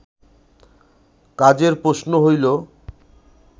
কাজের প্রশ্ন হইল